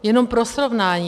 Jenom pro srovnání.